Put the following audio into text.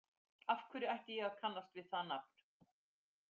Af hverju ætti ég að kannast við það nafn?